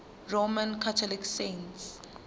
roman catholic saints